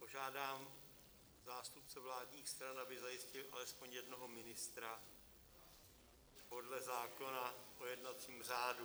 Požádám zástupce vládních stran, aby zajistili aspoň jednoho ministra podle zákona o jednacím řádu.